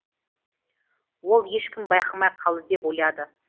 ол ешкім байқамай қалды деп ойлады